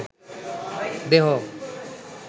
দেহ